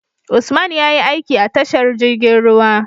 Usman yayi aiki a tashar jirgin ruwa